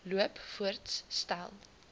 loop voorts stel